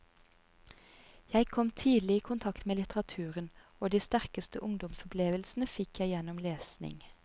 Jeg kom tidlig i kontakt med litteraturen, og de sterkeste ungdomsopplevelsene fikk jeg gjennom lesning.